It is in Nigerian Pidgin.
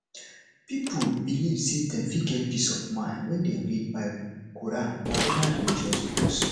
pipo belive sey dem fit get peace of mind when dem read bible quran or oda religious books